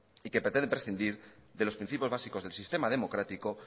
y que pretende prescindir de los principios básicos del sistema democrático